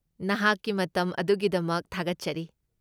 ꯅꯍꯥꯛꯀꯤ ꯃꯇꯝ ꯑꯗꯨꯒꯤꯗꯃꯛ ꯊꯥꯒꯠꯆꯔꯤ꯫